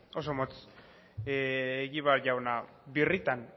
oso motz egibar jauna birritan